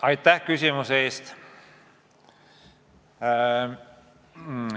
Aitäh küsimuse eest!